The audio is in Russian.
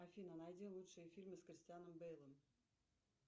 афина найди лучшие фильмы с кристианом бейлом